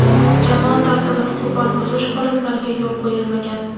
Jamoat tartibini qo‘pol buzish holatlariga yo‘l qo‘yilmagan.